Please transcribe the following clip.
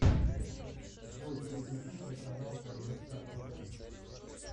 джой переключить на канал рбк тв